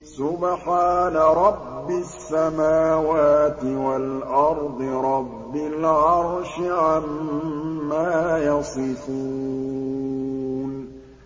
سُبْحَانَ رَبِّ السَّمَاوَاتِ وَالْأَرْضِ رَبِّ الْعَرْشِ عَمَّا يَصِفُونَ